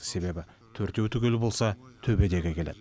себебі төртеу түгел болса төбедегі келеді